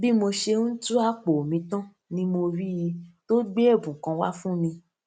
bí mo ṣe ń tú àpò mi tán ni mo rí i tó gbé èbùn kan wá fún mi